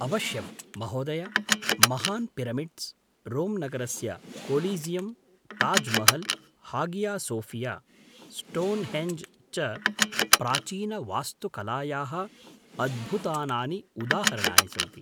अवश्यं, महोदय! महान् पिरामिड्स्, रोम् नगरस्य Colosseum, Taj Mahal, Hagia Sophia, Stonehenge च प्राचीनवास्तुकलायाः अद्भुतानानि उदाहरणानि सन्ति।